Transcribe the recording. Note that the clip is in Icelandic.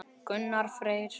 Gunnar Freyr.